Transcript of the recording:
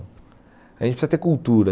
A gente precisa ter cultura.